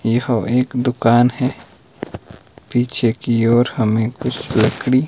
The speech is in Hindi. यह एक दुकान है पीछे की ओर हमें कुछ लकड़ी--